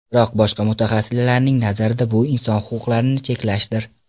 Biroq boshqa mutaxassislar nazarida bi inson huquqlarini cheklashdir.